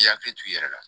I yakili t'i yɛrɛ la